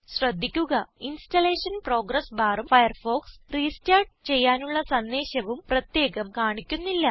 ശ്രദ്ധിക്കുക installation progress ബാറും Firefox restart ചെയ്യാനുള്ള സന്ദേശവും പ്രത്യേകം കാണിക്കുന്നില്ല